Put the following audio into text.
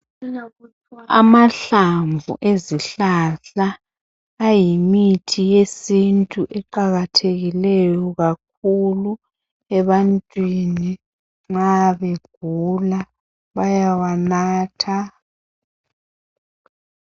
Amahlamvu ezihlahla ayimithi yesintu eqakathekileyo kakhulu ebantwini nxa begula bayawanatha .